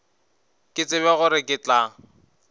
ke tsebe gore ke tla